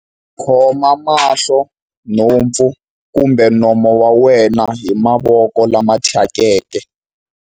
Khoma mahlo, nhompfu kumbe nomo wa wena hi mavoko lama thyakeke.